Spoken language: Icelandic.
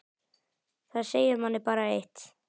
Það segir manni bara eitt.